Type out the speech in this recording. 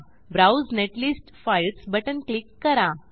browse netlist files button click करा